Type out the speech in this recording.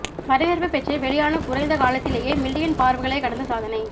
வரவேற்பு பெற்று வெளியான குறைந்த காலத்திலேயே மில்லியன் பார்வைகளை கடந்து சாதனை